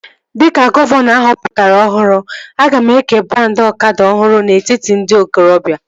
Dịka gọvanọ ahọpụtara ọhụrụ, aga m eke brandị ọkada ọhụrụ n'etiti ndị okorobia